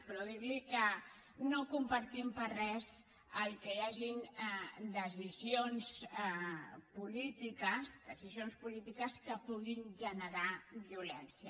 però dir li que no compartim per res que hi hagin decisions polítiques que puguin generar violència